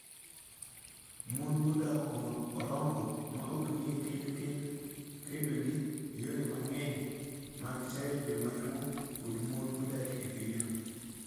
Mon modak Orongo ma ok nie kend kedo gi yore mang'eny mag chayo joma chwo kod mon modak e pinyno.